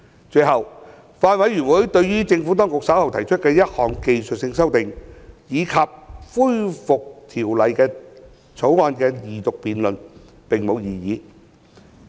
最後，法案委員會對於政府當局稍後提出的1項技術性修訂，以及恢復《條例草案》二讀辯論，並無異議。